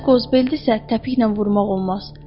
Zənci qozbeldirsə təpiklə vurmaq olmaz.